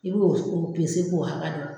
I bɛ o o k'o hakɛ dɔn.